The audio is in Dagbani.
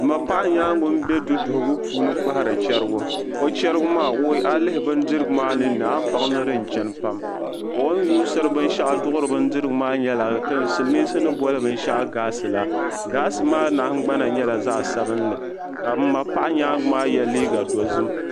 M ma paɣa nyaanga n bɛ du duhigu puuni n kpahiri charigu o chariga maa a yi bindirigu maa nin ni a baŋ ni di n chani pam o yuusiri bin shɛɣu duɣiri maa nyɛla silmiinsi ni boli bin shɛɣu gaasi la gaasi maa nahangbana nyɛla zaɣa sabinli ka m MA paɣa nyaanga maa yɛ liiga dozim.